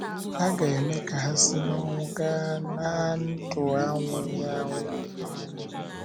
A ga - eme ka ha si n’ọnwụ gaa ná ndụ anwụghị anwụ n’eluigwe.